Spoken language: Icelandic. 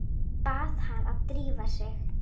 Bað hana að drífa sig.